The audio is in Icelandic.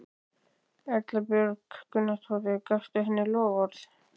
Erla Björg Gunnarsdóttir: Gafstu henni loforð?